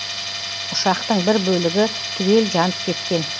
ұшақтың бір бөлігі түгел жанып кеткен